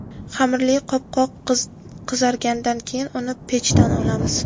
Xamirli qopqoq qizargandan keyin uni pechdan olamiz.